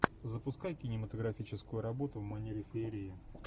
запускай кинематографическую работу в манере феерии